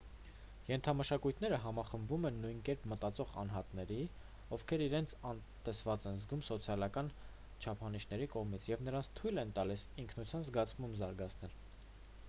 ենթամշակույթները համախմբում են նույն կերպ մտածող անհատների ովքեր իրենց անտեսված են զգում սոցիալական չափանիշների կողմից և նրանց թույլ են տալիս ինքնության զգացում զարգացնել